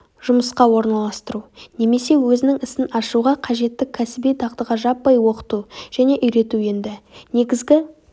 жұмысқа орналастыру немесе өзінің ісін ашуға қажетті кәсіби дағдыға жаппай оқыту және үйрету енді негізгі